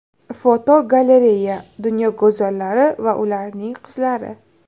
Fotogalereya: Dunyo go‘zallari va ularning qizlari.